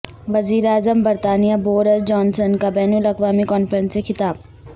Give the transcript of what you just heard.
وزیراعظم برطانیہ Boris Johnson کا بین الاقوامی کانفرنس سے خطاب